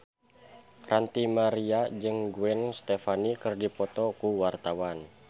Ranty Maria jeung Gwen Stefani keur dipoto ku wartawan